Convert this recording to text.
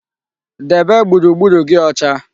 Debe gburugburu gi ocha